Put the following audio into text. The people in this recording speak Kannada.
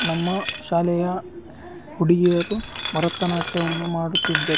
ನಮ್ಮ ಶಾಲೆಯ ಹುಡಿಗಿಯರು ಭರತನಾಟ್ಯವನ್ನು ಮಾಡುತ್ತಿದ್ದರು .